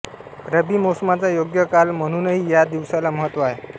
रबी मोसमाचा योग्य काल म्हणूनही या दिवसाला महत्त्व आहे